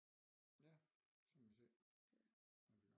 Ja så må vi se